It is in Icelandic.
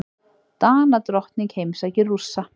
Danadrottning heimsækir Rússa